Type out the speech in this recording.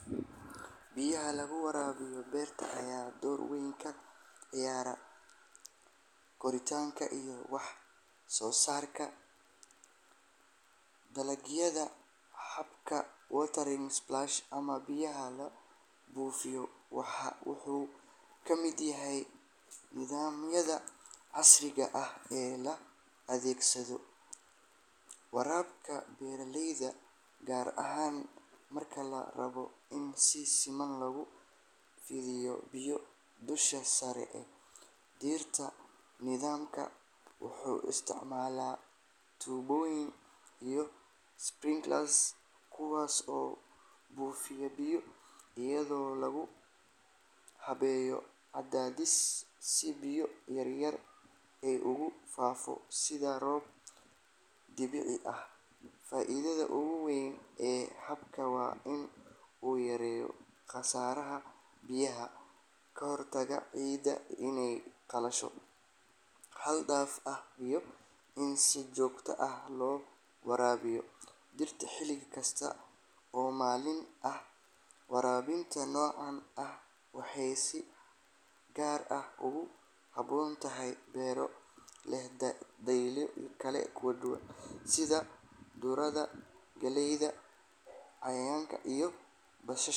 Biyaha lagu waraabiyo beerta ayaa door weyn ka ciyaara koritaanka iyo wax-soosaarka dalagyada. Habka watering splash ama biyaha la buufiyo wuxuu ka mid yahay nidaamyada casriga ah ee loo adeegsado waraabka beeraleyda, gaar ahaan marka la rabo in si siman loogu fidiyo biyo dusha sare ee dhirta. Nidaamkan wuxuu isticmaalaa tuubooyin iyo sprinklers kuwaas oo buufiya biyo iyadoo lagu hagayo cadaadis, si biyo yaryar ay ugu faafo sida roob dabiici ah. Faa’iidada ugu weyn ee habkan waa in uu yareeyo khasaaraha biyaha, ka hortago ciidda inay qallasho xad-dhaaf ah, iyo in si joogto ah loo waraabiyo dhirta xilli kasta oo maalintii ah. Waraabinta noocan ah waxay si gaar ah ugu habboon tahay beero leh dalagyo kala duwan sida khudradda, galeyda, yaanyada iyo basasha.